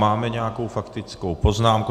Máme nějakou faktickou poznámku?